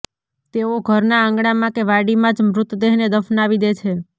તેઓ ઘરના આંગણામાં કે વાડીમાં જ મૃતદેહને દફનાવી દે છે